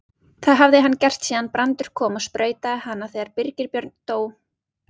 Það hafði hann gert síðan Brandur kom og sprautaði hana þegar Birgir Björn dó.